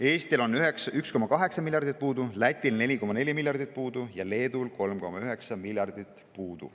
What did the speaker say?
Eestil on puudu 1,8 miljardit, Lätil 4,4 miljardit ja Leedul 3,9 miljardit.